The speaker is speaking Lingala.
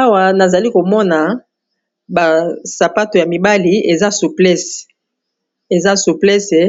Awa nazali komona basapato ya mibali eza souplese